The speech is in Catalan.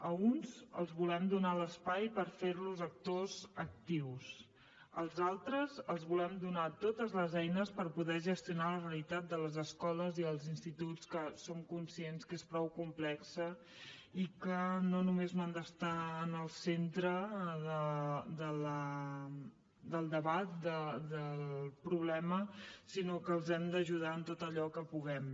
a uns els volem donar l’espai per fer los actors actius als altres els volem donar totes les eines per poder gestionar la realitat de les escoles i els instituts que som conscients que és prou complexa i que no només no han d’estar en el centre del debat del problema sinó que els hem d’ajudar en tot allò que puguem